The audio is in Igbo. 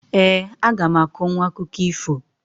Eeǃ A gam akọnwụ akụkọ ifo.